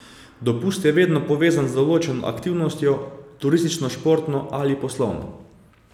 Dopust je vedno povezan z določeno aktivnostjo, turistično, športno ali poslovno.